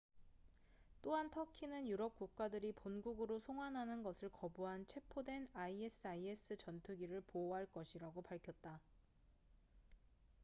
또한 터키는 유럽 국가들이 본국으로 송환하는 것을 거부한 체포된 isis 전투기를 보호할 것이라고 밝혔다